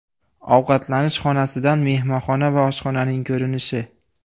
Ovqatlanish xonasidan mehmonxona va oshxonaning ko‘rinishi.